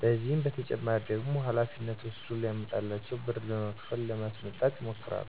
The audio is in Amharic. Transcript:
ከዚህ በተጨማሪ ደግሞ ሀላፊነት ወስደ ለሚያመጣላቸው ብር በመክፈል ለማስመጣት ይሞክራሉ።